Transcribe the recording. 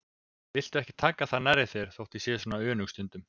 Viltu ekki taka það nærri þér þó að ég sé svona önug stundum.